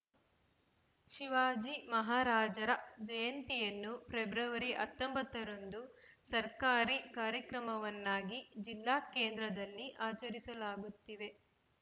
ಶಿವಾಜಿ ಮಹಾರಾಜರ ಜಯಂತಿಯನ್ನು ಫೆಬ್ರವರಿ ಹತ್ತೊಂಬತ್ತ ರಂದು ಸರ್ಕಾರಿ ಕಾರ್ಯಕ್ರಮವನ್ನಾಗಿ ಜಿಲ್ಲಾ ಕೇಂದ್ರದಲ್ಲಿ ಆಚರಿಸಲಾಗುತ್ತಿದೆ